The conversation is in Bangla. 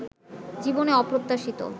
জীবনে অপ্রত্যাশিত